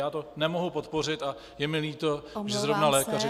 Já to nemohu podpořit a je mi líto, že zrovna lékaři toto podporují.